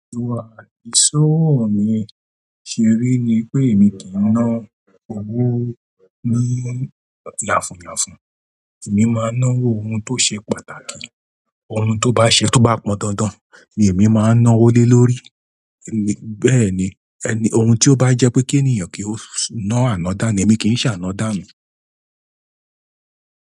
Ìwà ìṣọ̀wọ̀ mi ṣé rí ni pé èmi kì í ná owó ní ya fun ya fun, èmi máa ń ná owó ohun tó ṣe pàtàkì. Òhun to ba ṣe to pọn dandan ni èmi máa ná owó lé lórí. Bẹ́ẹ̀ ni, ẹni, ohun tí ó bá jẹ́ pé kí ènìyàn kí ó ná àná dá ní èmi kì í ṣà ná dánu.